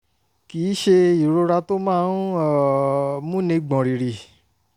kì í ṣe ìrora tó máa ń um múni gbọ̀n rìrì